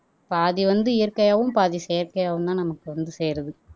பாதி வந்து இயற்கையாவும் பாதி செயற்கையாவும் தான் நமக்கு வந்து சேருது